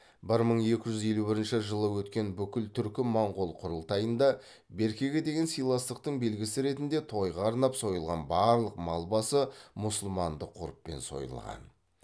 бір мың екі жүз елу бірінші жылы өткен бүкіл түркі моңғол құрылтайында беркеге деген сыйластықтың белгісі ретінде тойға арнап сойылған барлық мал басы мұсылмандық ғұрыппен сойылған